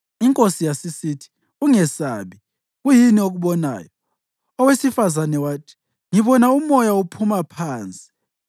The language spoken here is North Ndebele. Inkosi yasisithi, “Ungesabi. Kuyini okubonayo?” Owesifazane wathi, “Ngibona umoya ophuma phansi.”